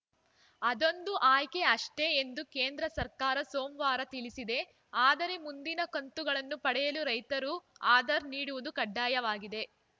ಅದೊಂದು ಆಯ್ಕೆ ಅಷ್ಟೇ ಎಂದು ಕೇಂದ್ರ ಸರ್ಕಾರ ಸೋಮವಾರ ತಿಳಿಸಿದೆ ಆದರೆ ಮುಂದಿನ ಕಂತುಗಳನ್ನು ಪಡೆಯಲು ರೈತರು ಆಧಾರ್‌ ನೀಡುವುದು ಕಡ್ಡಾಯವಾಗಿದೆ